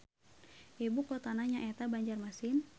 Ibu kotana nyaeta Banjarmasin.